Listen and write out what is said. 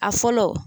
A fɔlɔ